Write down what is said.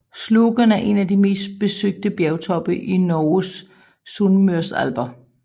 Slogen er en af de mest besøgte bjergtoppe i Norges Sunnmørsalper